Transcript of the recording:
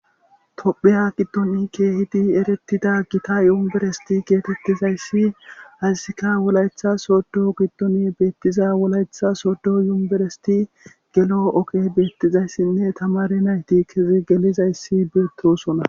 topheya giddon keehidi eretida gita yumberesti geetettizayssi hazisika wolayetha sodo giddone beettiza wolayetha soddo yumberesti gelo okey beettizayssinne tamare nayti kezi gelizayssi beettosona